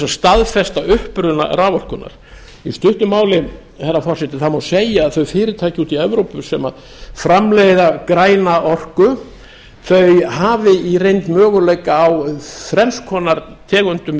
að staðfesta uppruna raforkunnar í stuttu máli herra forseti má segja að þau fyrirtæki úti í evrópu sem framleiða græna orku þau hafi í reynd möguleika á þrenns konar tegundum